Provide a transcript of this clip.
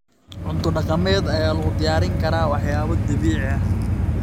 Cunto dhaqameed ayaa lagu diyaarin karaa waxyaabo dabiici ah.